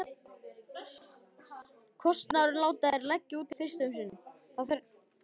Kostnaðinn láta þeir leggja út fyrst um sinn.